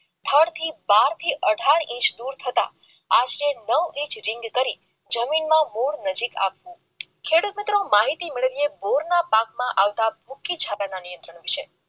બાર થી અઢાર ઇંચ દૂર થતા આશરે નવ ઇંચ કરી જમીનમાં મૂળ નજીક આવતા માહિતી મેળવીએ બોરના પાકમાં આવતા નિયંત્રણ છે